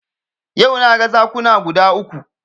Yau na ga zakuna guda uku